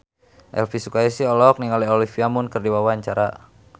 Elvi Sukaesih olohok ningali Olivia Munn keur diwawancara